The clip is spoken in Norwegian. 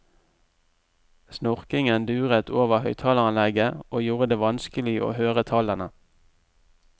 Snorkingen duret over høyttaleranlegget, og gjorde det vanskelig å høre tallene.